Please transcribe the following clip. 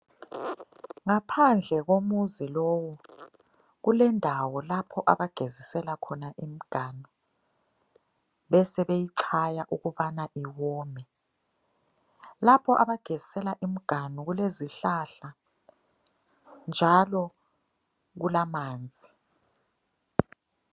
Ngaphandle komuzi lowu, kulendawo lapho abagezisela khona imiganu. Besebeyichaya ukubana iwome. Lapho abagezisela imiganu kulezihlahla njalo kulamanzi.